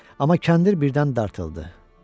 Amma kəndir birdən dartıldı.